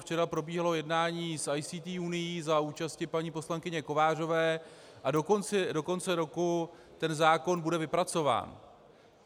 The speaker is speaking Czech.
Včera probíhalo jednání s ICT unií za účasti paní poslankyně Kovářové a do konce roku ten zákon bude vypracován.